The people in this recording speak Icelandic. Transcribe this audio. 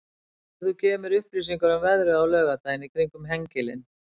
getur þú gefið mér upplýsingar um veðrið á laugardaginn í kring um hengilinn